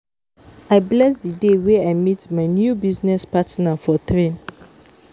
I bless the day wey I meet my new business partner for train